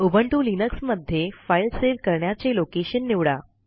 Ubuntu Linux मध्ये file save करण्याचे location निवडा